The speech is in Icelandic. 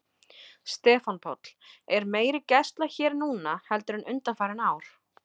Stefán Páll: Er meiri gæsla hér núna heldur en undanfarin ár?